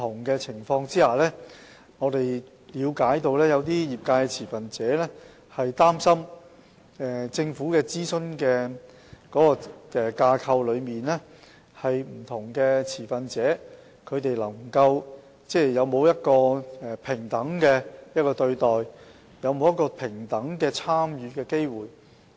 據我們了解，有些業界持份者擔心，政府的諮詢架構在不同情況下，不同持份者會否獲得平等對待和平等參與的機會。